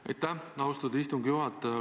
Aitäh, austatud istungi juhataja!